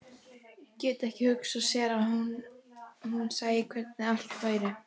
Gat ekki hugsað sér að hún sæi hvernig allt væri.